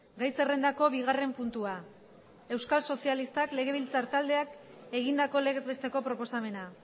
gai zerrendako bigarren puntua euskal sozialistak legebiltzar taldeak egindako legez besteko proposamena